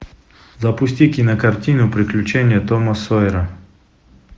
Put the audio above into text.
запусти кинокартину приключения тома сойера